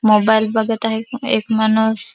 Mobile बगत आहे य एक माणुस.